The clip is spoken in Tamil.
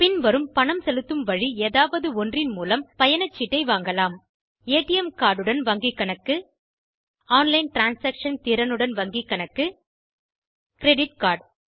பின்வரும் பணம் செலுத்தும் வழி ஏதாவது ஒன்றின் மூலம் பயணச்சீட்டை வாங்கலாம் ஏடிஎம் கார்ட் உடன் வங்கிக் கணக்கு ஆன்லைன் டிரான்சாக்ஷன் திறனுடன் வங்கிக் கணக்கு கிரெடிட் கார்ட்